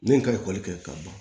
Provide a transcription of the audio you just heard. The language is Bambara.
Ne ye ka ekɔli kɛ ka ban